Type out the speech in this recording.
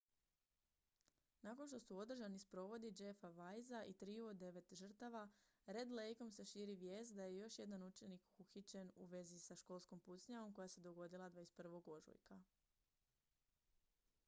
nakon što su održani sprovodi jeffa weisea i triju od devet žrtava red lakeom se širi vijest da je još jedan učenik uhićen u vezi sa školskom pucnjavom koja se dogodila 21. ožujka